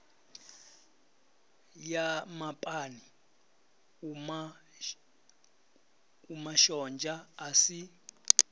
ya mapani umashonzha a si